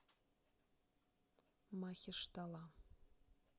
махештала